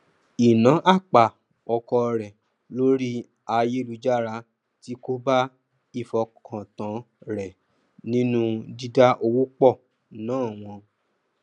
ìná àpà ọkọ rẹ lórí ayélujára ti kóbá ìfọkàntán rẹ nínú dídá owó pọ ná wọn